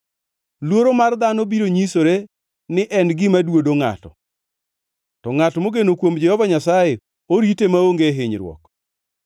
Luoro mar dhano biro nyisore ni en gima duodo ngʼato, to ngʼat mogeno kuom Jehova Nyasaye orite maonge hinyruok.